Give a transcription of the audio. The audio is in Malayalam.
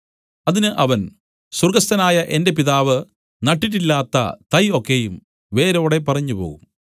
അതിന് അവൻ സ്വർഗ്ഗസ്ഥനായ എന്റെ പിതാവ് നട്ടിട്ടില്ലാത്ത തൈ ഒക്കെയും വേരോടെ പറിഞ്ഞുപോകും